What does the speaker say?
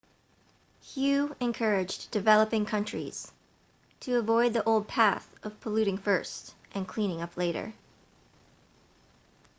hu encouraged developing countries to avoid the old path of polluting first and cleaning up later